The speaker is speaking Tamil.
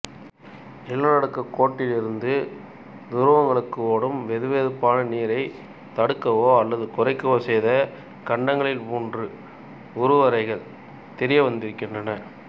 நிலநடுக்கோட்டிலிருந்து துருவங்களுக்கு ஓடும் வெதுவெதுப்பான நீரைத் தடுக்கவோ அல்லது குறைக்கவோ செய்த கண்டங்களின் மூன்று உருவரைகள் தெரிய வந்திருக்கின்றன